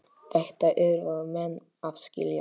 Þetta yrðu menn að skilja.